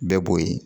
Bɛɛ b'o ye